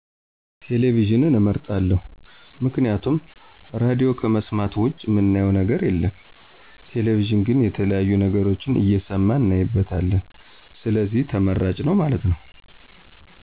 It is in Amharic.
ቴሌቪዥንን አመርጣለሁ፦ ምክንያቱም ራድዮ ከመሥማት ውጭ ምናየው ነገር የለም ቴሌቪዥን ግን የተለያዬ ነገሮችን እሠማን እናይበታለን ስለዚህ ተመራጭ ነው ማለት ነው።